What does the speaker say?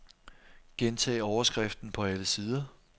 Gentag overskriften på alle sider.